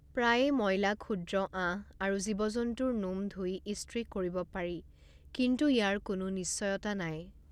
প্ৰায়ে ময়লা ক্ষুদ্ৰ আঁহ আৰু জীৱ জন্তুৰ নোম ধুই ইস্ত্ৰি কৰিব পাৰি কিন্তু ইয়াৰ কোনো নিশ্চয়তা নাই।